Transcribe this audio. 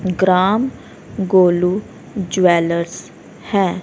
ग्राम Golu jewellers हैं।